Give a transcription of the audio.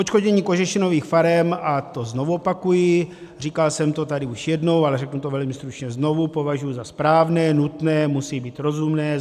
Odškodnění kožešinových farem, a to znovu opakuji, říkal jsem to tady už jednou, ale řeknu to velmi stručně znovu, považuji za správné, nutné, musí být rozumné.